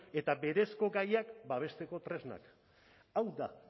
eta berezko gaiak babesteko tresnak hau da